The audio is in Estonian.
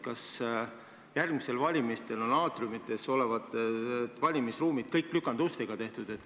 Kas järgmistel valimistel on kõik aatriumites olevad valimisruumid tehtud lükandustega?